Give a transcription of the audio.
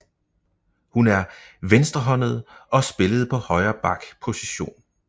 Hun er venstrehåndet og spillede på højre back position